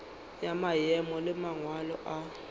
ya maemo le mangwalo a